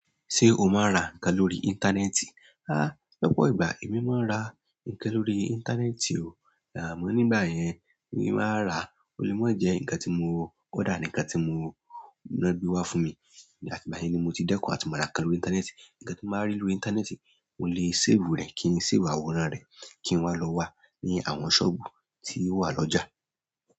Ṣé o máa ń ra nǹkan lórí íńtánẹ́ẹ̀tì? Háá! Lọ́pọ̀ ìgbà èmi máa ń ra ǹkan lórí íńtánẹ́ẹ̀tì o, àmọ́ nígbà yẹn ni máa rà, ó lè mo jẹ́ ǹkan tí mo order nkan ti mo lo gbe wá fún mi. Àtigbayen ni mo ti dẹ́kun àti máa ra ǹkan lórí. Íńtánẹ́ẹ̀tì. Ǹkan tí mo bá rí lórí íńtánẹ́ẹ̀tì, mo lè save rẹ̀ kí n ṣe si wo àwòrán rẹ̀ kí n wá lọ wà ní àwọn sọ́ọ̀bù tí ó wà lọ́jà.